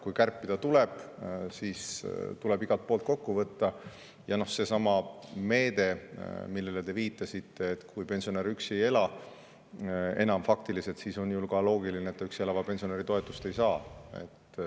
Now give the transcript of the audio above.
Kui kärpida tuleb, siis tuleb igalt poolt kokku võtta, ja seesama meede, millele te viitasite, et kui pensionär enam faktiliselt üksi ei ela, siis on ju ka loogiline, et ta üksi elava pensionäri toetust ei saa.